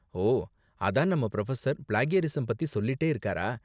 ஓ, அதான் நம்ம professor plagiarism பத்தி சொல்லிட்டே இருக்காரா?